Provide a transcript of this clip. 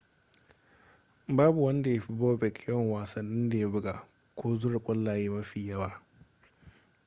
babu wanda ya fi bobek yawan wasannin da ya buga ko zura kwallaye mafi yawa